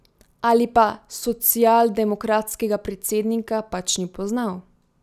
Ali pa socialdemokratskega predsednika pač ni poznal.